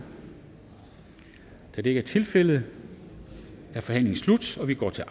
da det ikke er tilfældet er forhandlingen sluttet og vi går til